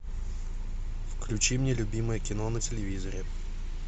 включи мне любимое кино на телевизоре